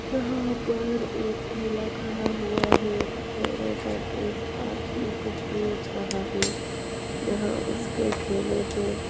यहाँ पर एक ठेला खड़ा हुआ है ठेले पर एक आदमी कुछ बेच रहा है यहाँ उसके ठेले पे--